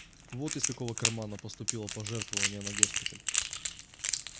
вот из какого кармана поступило пожертвование на госпиталь